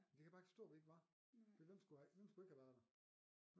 Det kan jeg bare ikke forstå vi ikke var for hvem skulle hvem skulle ikke have været der